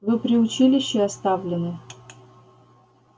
вы при училище оставлены